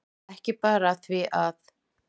Ekki bara af því að